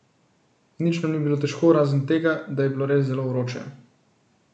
Nič nam ni bilo težko, razen tega, da je bilo res zelo vroče.